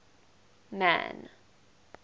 man